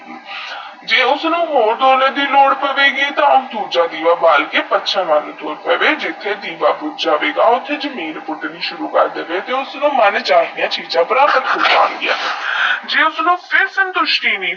ਜੇਈ ਉਸਨੂ ਹੋਰ ਸੋਨੇ ਦੀ ਲੋੜ ਪਵੇਗੀ ਤੇਹ ਊ ਦੂਜਾ ਦੀਵਾ ਬਾਲ ਕੇ ਜਿੱਥੇ ਦੀਵਾ ਬੁਜ ਜਾਵੇਗਾ ਉਥੇ ਨੀਰ ਪੁਤਨੀ ਸੁਰੂ ਕਰ ਦਵੇ